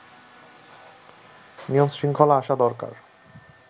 নিয়ম-শৃঙ্খলা আসা দরকার